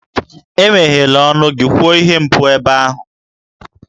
Emeghela ọnụ gị kwuo ihe mpou ebe ahụ!